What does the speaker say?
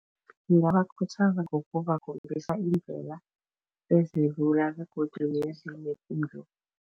Ngingabakhuthaza ngokubakhombisa iindlela ezilula